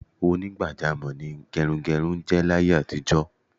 Onígbàjámò̩ ni ge̩runge̩run jé̩ láyé àtijó̩.